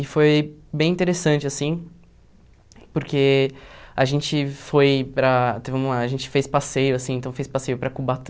E foi bem interessante assim, porque a gente foi para teve uma a gente fez passeio assim então fez passeio para